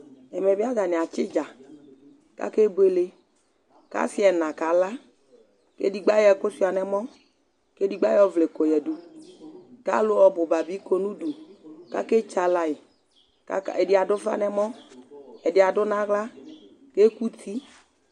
Ɛmɛ bi ata ni atsi udza, ku akebuele ,ku asi ɛna kaka, ku edigbo ayɔ ɛku sʋa nu ɔmɔ, ku edigbo ayɔ ɔvlɛ kɔ ya du, ku alu ɔbu ba bi kɔ nu udu ku aketsaɣla yi, ka ka , ɛdi adu ufa nu ɛmɔ, ɛdi adu nu aɣla ku eku uti